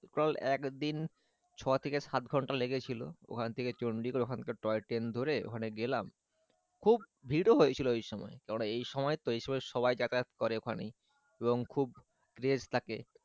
Total একদিন ছ থেকে সাত ঘন্টা লেগেছিল ওখান থেকে চন্ডিগড় ওখান থেকে টয় ট্রেন ধরে ওখানে গেলাম খুব ভির ও হয়েছিল ওই সময় কেননা এই সময় তো এই সময় সবাই যাতায়াত করে ওখানে এবং খুব craze থাকে।